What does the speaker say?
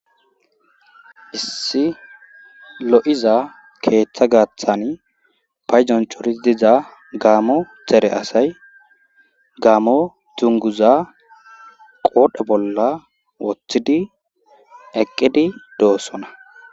Issi lo'iza keeththa gaaththan payjonchori diza gaamo xere asay gaamo dunguza qoodhe bolla woththidi eqqidi doossona.